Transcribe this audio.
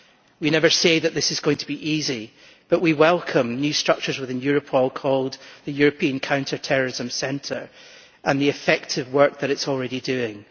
We never say that this is going to be easy, but we welcome new structures within Europol called the European Counter-terrorism Centre and the effective work that it is already doing.